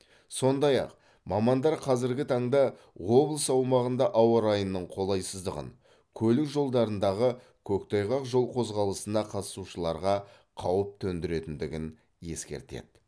сондай ақ мамандар қазіргі таңда облыс аумағында ауа райының қолайсыздығын көлік жолдарындағы көктайғақ жол қозғалысына қатысушыларға қауіп төндіретіндігін ескертеді